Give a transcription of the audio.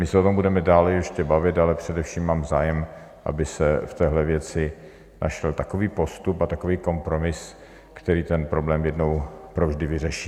My se o tom budeme dále ještě bavit, ale především mám zájem, aby se v téhle věci našel takový postup a takový kompromis, který ten problém jednou provždy vyřeší.